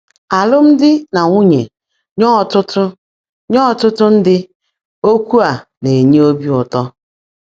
ÁLỤ́MDỊ́ NÀ NWÚNYÉ — nyé ọ́tụ́tụ́ — nyé ọ́tụ́tụ́ ndị́, ókwụ́ á ná-ènyé óbí ụ́tọ́.